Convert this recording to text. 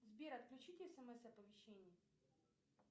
сбер отключите смс оповещения